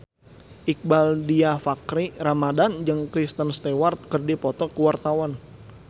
Iqbaal Dhiafakhri Ramadhan jeung Kristen Stewart keur dipoto ku wartawan